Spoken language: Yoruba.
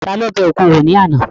Ta ló bẹ òkun wò ní àná?